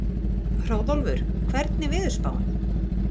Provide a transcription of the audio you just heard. Hróðólfur, hvernig er veðurspáin?